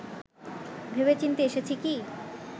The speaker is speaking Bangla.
ভেবেচিন্তে এসেছি কি